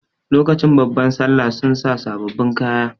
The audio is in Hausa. Lokacin babban sallah sun sa sababbin kaya.